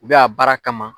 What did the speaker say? U bɛ a baara kama